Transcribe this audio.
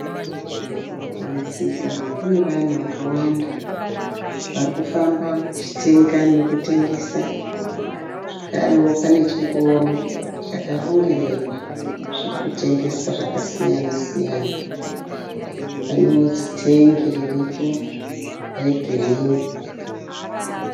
Pamusika pane vanhu vakawanda vari kufamba vachitenga nekutengesa, zvakarewo pane chingoro charongererwa zviri kutengeswa zvakasiya-siyana. Pane zitengi riripo regirini.